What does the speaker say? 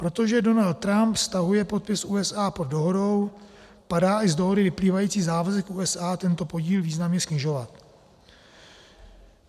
Protože Donald Trump stahuje podpis USA pod dohodou, padá i z dohody vyplývající závazek USA tento podíl významně snižovat.